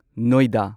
ꯅꯣꯢꯗꯥ